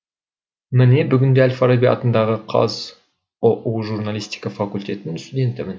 міне бүгінде әл фараби атындағы қаз ұу журналистика факультетінің студентімін